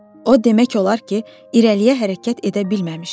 O demək olar ki, irəliyə hərəkət edə bilməmişdi.